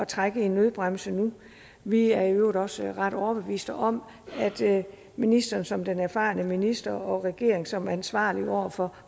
trække i nødbremsen nu vi er i øvrigt også ret overbeviste om at ministeren som den erfarne minister og at regeringen som ansvarlig over for